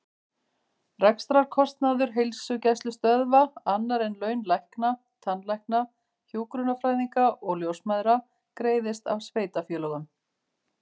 Rekstrarkostnaður heilsugæslustöðva, annar en laun lækna, tannlækna, hjúkrunarfræðinga og ljósmæðra, greiðist af sveitarfélögum.